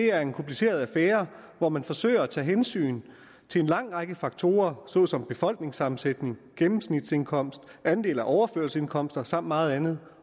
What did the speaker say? er en kompliceret affære hvor man forsøger tage hensyn til en lang række faktorer såsom befolkningssammensætning gennemsnitsindkomst andel af overførselsindkomster samt meget andet